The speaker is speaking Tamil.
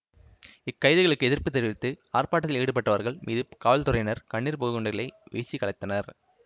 இக்கைதுகளுக்கு எதிர்ப்பு தெரிவித்து ஆர்ப்பாட்டத்தில் ஈடுபட்டவர்கள் மீது காவல்துறையினர் கண்ணீர் புகை குண்டுகள் வீசி கலைத்தனர்